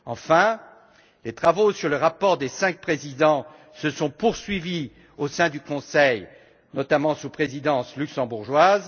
Enfin, les travaux sur le rapport des cinq présidents se sont poursuivis au sein du Conseil, notamment sous la présidence luxembourgeoise.